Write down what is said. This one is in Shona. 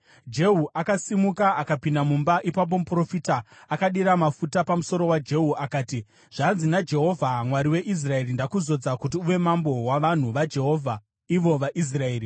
Jehu akasimuka akapinda mumba. Ipapo muprofita akadira mafuta pamusoro waJehu akati, “Zvanzi naJehovha: Mwari weIsraeri: ‘Ndakuzodza kuti uve mambo wavanhu vaJehovha, ivo vaIsraeri.